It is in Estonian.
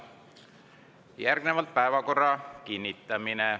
Järgneb päevakorra kinnitamine.